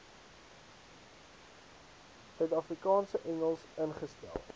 suidafrikaanse engels ingestel